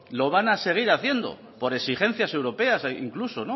lo van a seguir haciendo por exigencias europeas incluso